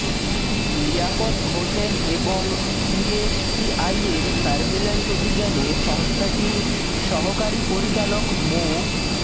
লিয়াকত হোসেন এবং বিএসটিআইর সার্ভিল্যান্স অভিযানে সংস্থাটির সহকারী পরিচালক মো